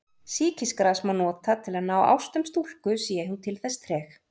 Sýkisgras má nota til að ná ástum stúlku sé hún til þess treg.